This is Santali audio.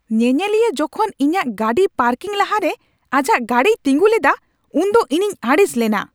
ᱧᱮᱧᱮᱞᱤᱭᱟᱹ ᱡᱚᱠᱷᱚᱱ ᱤᱧᱟᱹᱜ ᱜᱟᱹᱰᱤ ᱯᱟᱨᱠᱤᱝ ᱞᱟᱦᱟᱨᱮ ᱟᱡᱟᱜ ᱜᱟᱹᱰᱤᱭ ᱛᱤᱸᱜᱩ ᱞᱮᱫᱟ ᱩᱱᱫᱚ ᱤᱧᱤᱧ ᱟᱹᱲᱤᱥ ᱞᱮᱱᱟ ᱾